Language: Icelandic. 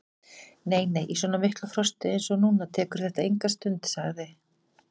Nei, nei, í svona miklu frosti eins og núna tekur þetta enga stund sagði